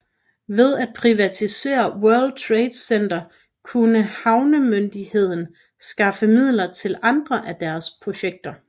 Ved at privatisere World Trade Center kunne havnemyndigheden skaffe midler til andre af dets projekter